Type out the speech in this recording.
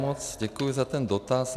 Moc děkuji za ten dotaz.